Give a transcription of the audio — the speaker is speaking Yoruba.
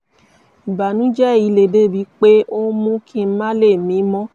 ìbànújẹ́ yìí le débi pé ó ń mú kí n má lè mí mọ́